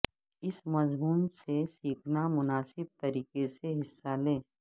اس مضمون سے سیکھنا مناسب طریقے سے حصہ لیں